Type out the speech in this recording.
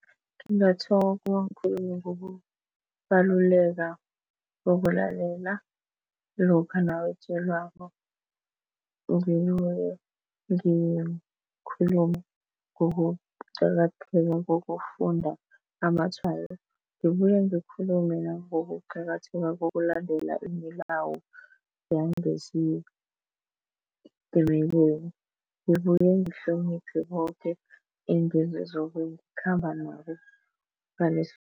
Ngikhulume ngokubaluleka bokulalela lokha nawutjelwako ngikhulume ngokuqakatheka kokufunda amatshwayo, ngibuye ngikhulume nangokuqakatheka kokulandela imilawu yangesitimeleni ngibuye ngihloniphe boke nabo